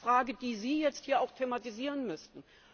Das ist die Frage, die Sie jetzt hier auch thematisieren müssten.